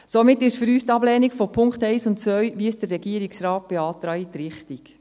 Somit ist für uns die Ablehnung der Punkte 1 und 2, wie es der Regierungsrat beantragt, richtig.